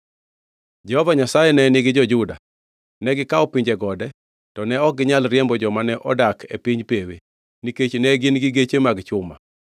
Jehova Nyasaye ne nigi jo-Juda. Negikawo piny gode, to ne ok ginyal riembo joma ne odak e piny pewe, nikech ne gin-gi geche mag chuma.